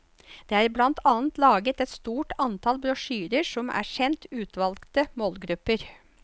Det er blant annet laget et stort antall brosjyrer som er sendt utvalgte målgrupper.